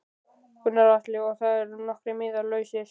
Gunnar Atli: Og það eru nokkrir miðar lausir?